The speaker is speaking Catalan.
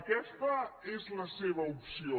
aquesta és la seva opció